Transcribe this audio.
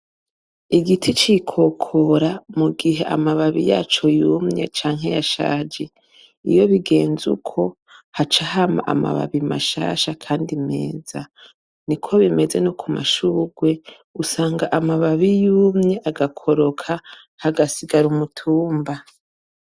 Igiti cikokora mu gihe amababi yaco yumye canke yashaje iyo bigenze uko haca hama amababi mashasha, kandi meza ni ko bimeze no ku mashurwe usanga amababi yumye agakoroka hagasigara umutumba.